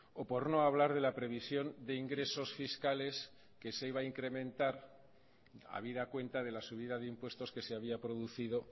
o por no hablar de la previsión de ingresos fiscales que se iba a incrementar habida cuenta de la subida de impuestos que se había producido